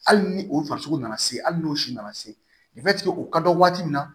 Hali ni o farisogo nana se hali n'o si nana se o ka dɔn waati min na